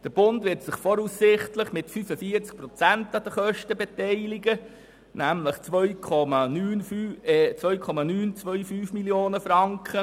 Der Bund wird sich voraussichtlich mit 25 Prozent an den Kosten beteiligen, nämlich mit 2,925 Mio. Franken.